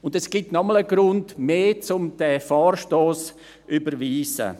Und es gibt noch einmal einen Grund mehr, um diesen Vorstoss zu überweisen: